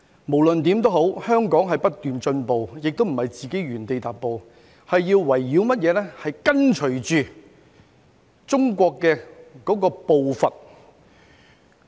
無論如何香港都在不斷進步，不是原地踏步，而且要跟隨中國的步伐。